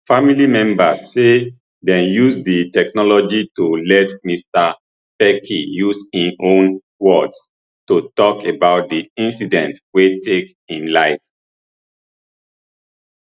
family members say dem use di technology to let mr pelkey use im own words to tok about di incident wey take im life